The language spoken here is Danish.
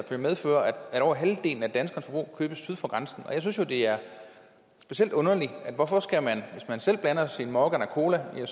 som medfører at over halvdelen af danskernes forbrug købes syd for grænsen jeg synes jo det er specielt underligt at hvis man selv blander sin captain morgan og cola er